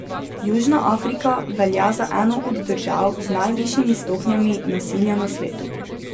Južna Afrika velja za eno od držav z najvišjimi stopnjami nasilja na svetu.